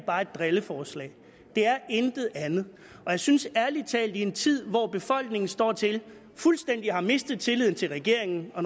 er et drilleforslag det er intet andet og jeg synes ærlig talt at i en tid hvor befolkningen står til fuldstændig at have mistet tilliden til regeringen og